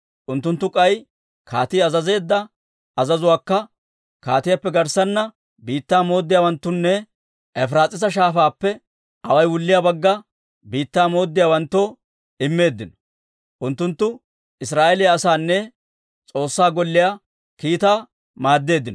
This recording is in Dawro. Unttunttu k'ay kaatii azazeedda azazuwaakka kaatiyaappe garssanna biittaa mooddiyaawanttunne Efiraas'iisa Shaafaappe away wulliyaa Bagga Biittaa mooddiyaawanttoo immeeddino; unttunttu Israa'eeliyaa asaanne S'oossaa Golliyaa kiitaa maaddeeddino.